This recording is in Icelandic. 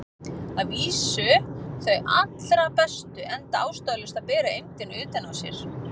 Að vísu þau allra bestu, enda ástæðulaust að bera eymdina utan á sér.